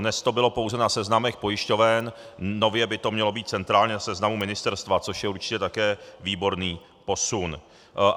Dnes to bylo pouze na seznamech pojišťoven, nově by to mělo být centrálně v seznamu ministerstva, což je určitě také výborný posun.